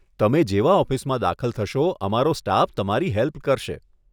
તમે જેવા ઓફિસમાં દાખલ થશો અમારો સ્ટાફ તમારી હેલ્પ કરશે.